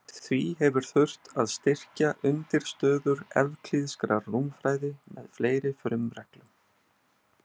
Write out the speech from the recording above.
Því hefur þurft að styrkja undirstöður evklíðskrar rúmfræði með fleiri frumreglum.